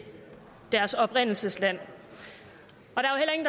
deres oprindelsesland